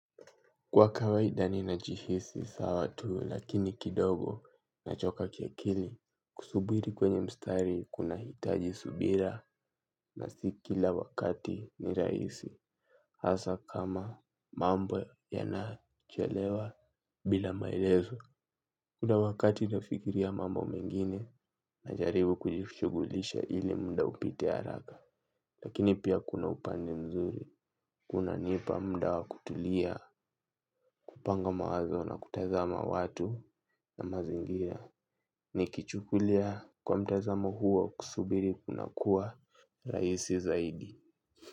Kwa kawaida ninajihisi sawa tu lakini kidogo nachoka kiakili kusubiri kwenye mstari kunahitaji subira na si kila wakati ni rahisi hasa kama mambo yanachelewa bila maelezo. Kuna wakati nafikiria mambo mengine najaribu kujishughulisha ili muda upite haraka lakini pia kuna upande mzuri kunanipa muda wa kutulia. Kupanga mawazo na kutazama watu na mazingira. Nikichukulia kwa mtazamo huo kusubiri kunakuwa rahisi zaidi.